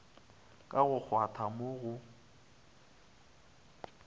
ka go kgwatha mo go